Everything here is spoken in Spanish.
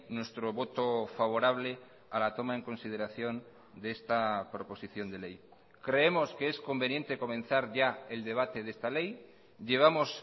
nuestro voto favorable a la toma en consideración de esta proposición de ley creemos que es conveniente comenzar ya el debate de esta ley llevamos